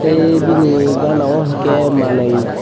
tei bini gana o uke manui.